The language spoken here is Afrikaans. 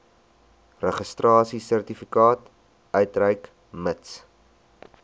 registrasiesertifikaat uitreik mits